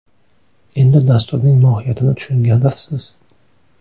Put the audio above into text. Endi dasturning mohiyatini tushungandirsiz!